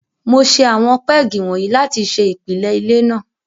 Mo ṣe àwọn pégì wọ̀nyí láti ṣe ìpìlẹ ilé náà.